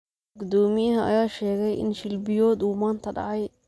Gudoomiyaha ayaa sheegay in shil biyood uu maanta dhacay.